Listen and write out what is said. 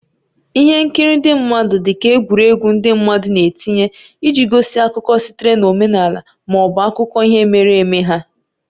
Ihe nkiri ndị mmadụ dị ka egwuregwu ndị mmadụ na-etinye iji gosi akụkọ sitere na omenala ma ọ bụ akụkọ ihe mere eme ha.